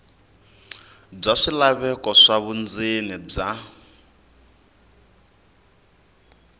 bya swilaveko swa vundzeni bya